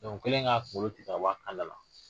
o kɛlen ka kungolo tigɛ bɔ a kan da la